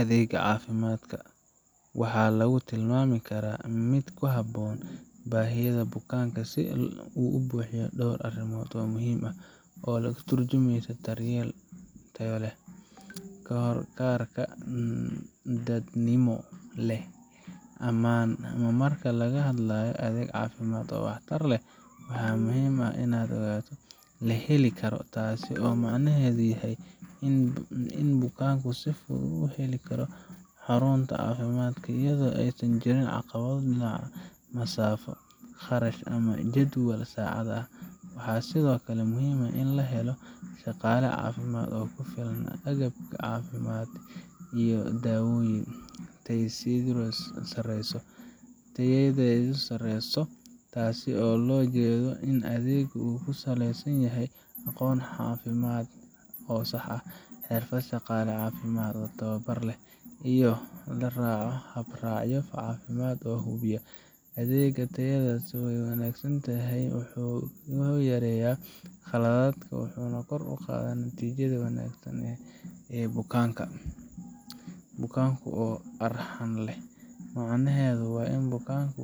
Adeegga caafimaadka waxaa lagu tilmaami karaa mid ku habboon baahiyaha bukaanka marka uu buuxiyo dhowr astaamood oo muhiim ah oo ka turjumaya daryeel tayo leh, la heli karo, dadnimo leh, iyo mid ammaan ah. Marka laga hadlayo adeeg caafimaad oo waxtar leh, waa inuu ahaadaa mid: La heli karo, taasoo micnaheedu yahay in bukaanku si fudud u heli karo xarunta caafimaadka, iyadoo aysan jirin caqabado dhinaca masaafo, kharash, ama jadwalka saacadaha ah. Waxaa sidoo kale muhiim ah in la helo shaqaale caafimaad oo ku filan, agab caafimaad, iyo daawooyin. Tayadiisu sarreyso, taasoo loola jeedo in adeega uu ku saleysan yahay aqoon caafimaad oo sax ah, xirfad shaqaale caafimaad oo tababar leh, iyo in la raaco hab raacyo caafimaad oo la hubiyay. Adeegga tayadiisa wanaagsan wuxuu yareeyaa khaladaadka, wuxuuna kor u qaadaa natiijada wanaagsan ee bukaanka. Bukaanka u arxan leh, macnaheedu waa in bukaanka